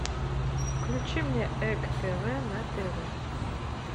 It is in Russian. включи мне эк тв на тв